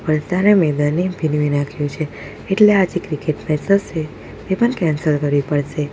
અત્યારે મેદાનને ભીનવી નાખ્યું છે એટલે આજે ક્રિકેટ મેચ હશે એ પણ કેન્સલ કરવી પડશે.